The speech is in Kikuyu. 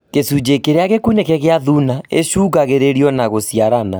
Gĩcunjĩ kĩrĩa gĩkunĩke gĩa thuna ĩcũngagĩrĩrio na gũciarana